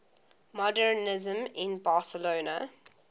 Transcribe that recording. modernisme in barcelona